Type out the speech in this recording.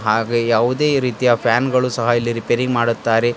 ಹಾಗೆ ಯಾವುದೇ ರೀತಿಯ ಫ್ಯಾನ್ ಗಳು ಸಹ ಇಲ್ಲಿ ರಿಪೇರಿ ಮಾಡುತ್ತಾರೆ.